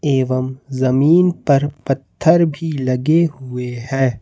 एवं जमीन पर पत्थर भी लगे हुए हैं।